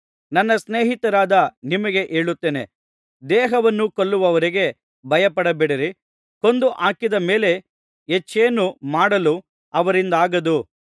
ನನ್ನ ಸ್ನೇಹಿತರಾದ ನಿಮಗೆ ಹೇಳುತ್ತೇನೆ ದೇಹವನ್ನು ಕೊಲ್ಲುವವರಿಗೆ ಭಯಪಡಬೇಡಿ ಕೊಂದು ಹಾಕಿದ ಮೇಲೆ ಹೆಚ್ಚೇನು ಮಾಡಲು ಅವರಿಂದಾಗದು